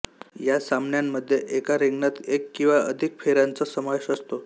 या सामन्यांमध्ये एका रिंगणात एक किंवा अधिक फेऱ्यांचा समावेश असतो